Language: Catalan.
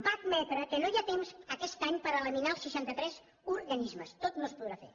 va admetre que no hi ha temps aquest any per eliminar els seixanta tres organismes tot no es podrà fer